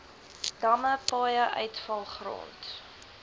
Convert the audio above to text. damme paaie uitvalgrond